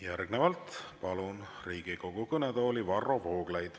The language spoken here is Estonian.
Järgnevalt palun Riigikogu kõnetooli Varro Vooglaiu.